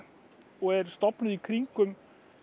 og er stofnuð í kringum